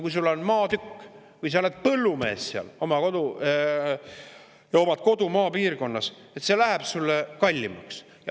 Kui sul on maatükk või sa oled põllumees ja omad kodu maapiirkonnas, siis see läheb sulle kallimaks.